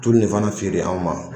Tulu nin fana feere anw ma